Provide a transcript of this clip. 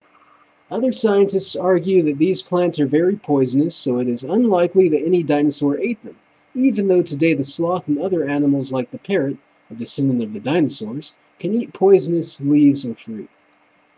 other scientists argue that these plants are very poisonous so it is unlikely that any dinosaur ate them even though today the sloth and other animals like the parrot a descendant of the dinosaurs can eat poisonous leaves or fruit